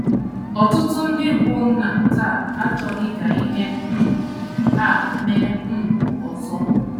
Ọtụtụ ndị bụ́ nna taa achọghị ka ihe um a mee um ọzọ.